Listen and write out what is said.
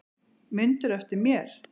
Mundirðu eftir mér?